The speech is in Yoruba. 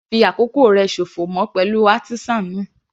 Ma fi àkókò rẹ sòfò mọ́ pẹ̀lú artisan náà.